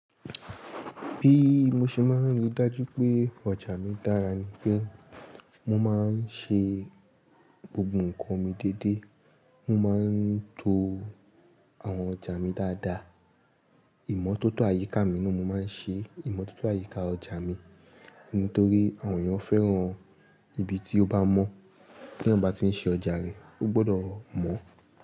Bí mo ṣe máa ń rí dájú pé ọjà mi dára ni pé mo máa ń ṣe gbogbo nǹkan mi déédé, mo máa ń to àwọn ọjà mi dáadáa. Ìmọ́tótó àyíká mi náà mo máa ń ṣe, ìmọ́tótó àyíká ọjà mi nítorí àwọn èèyàn fẹ́ràn ibi tí ó bá mọ́. Kí èyàn ba tí ń ṣe ọjà rẹ̀, ó gbọdọ̀ mọ́